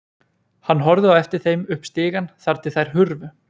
Hann horfði á eftir þeim upp stigann þar til þær hurfu.